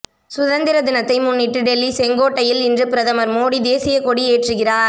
சுதந்திர தினத்தை முன்னிட்டு டெல்லி செங்கோட்டையில் இன்று பிரதமர் மோடி தேசிய கொடி ஏற்றுகிறார்